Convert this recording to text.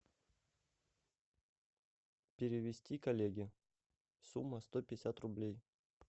перевести коллеге сумма сто пятьдесят рублей